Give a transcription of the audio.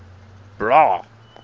bra